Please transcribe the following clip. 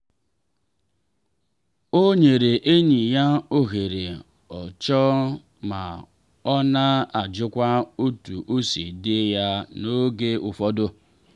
ọ nyere enyi ya ohere o chọ ma ọ na-ajụkwa otu o si dị ya n’oge ụfọdụ.